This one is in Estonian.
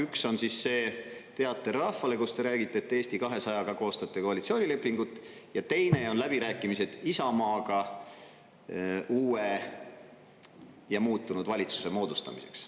Üks on see teater rahvale, kus te räägite, et Eesti 200-ga koostate koalitsioonilepingut, ja teine on läbirääkimised Isamaaga uue ja muutunud valitsuse moodustamiseks.